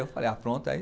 Eu falei, pronto, aí...